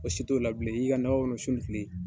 Ko si t'o la bilen, i yi ka nako kɔnɔ sun ni kile.